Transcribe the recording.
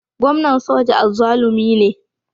Gwamnan soja azzalumi ne